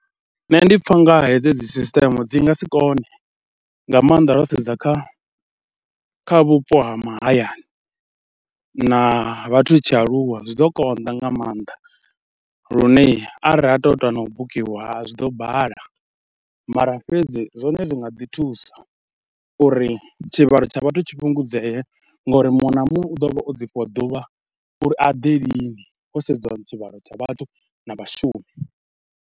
Nṋe ndi pfha u nga hedzo dzi sisiṱeme dzi nga si kone, nga maanḓa ro sedza kha kha vhupo ha mahayani na vhathu tshi aluwa zwi ḓo konḓa nga maanḓa, lune arali tou ita na u bukiwa zwi ḓo bala mara fhedzi zwone zwi nga ḓi thusa uri tshivhalo tsha vhathu tshi fhungudzee ngori muṅwe na muṅwe u ḓo vha o ḓifhiwa ḓuvha uri a ḓe lini ho sedziwa tshivhalo tsha vhathu na vhashumi.